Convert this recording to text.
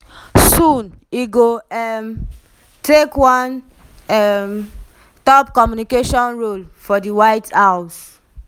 soon e go um take one um top communication role for di white house.